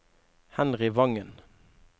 Henry Vangen